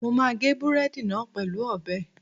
Mo máa gé búrẹ́dì náà pẹ̀lú ọ̀bẹ